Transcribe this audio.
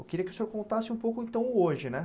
Eu queria que o senhor contasse um pouco então hoje, né?